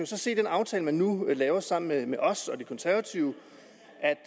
så se i den aftale man nu laver sammen med os og de konservative